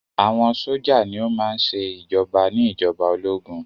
Àwọn sójà ní o má ń ṣe ìjoba ní ìjọba ológun.